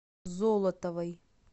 золотовой